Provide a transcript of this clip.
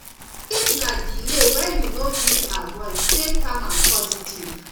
if na delay wey you no fit avoid stay calm and positive